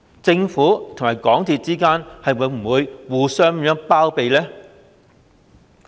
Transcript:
政府與港鐵公司之間會否互相包庇呢？